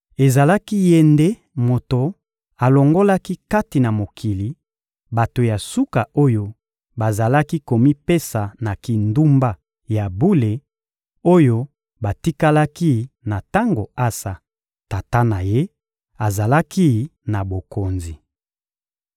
Ezalaki ye nde moto alongolaki kati na mokili, bato ya suka oyo bazalaki komipesa na kindumba ya bule, oyo batikalaki na tango Asa, tata na ye, azalaki na bokonzi.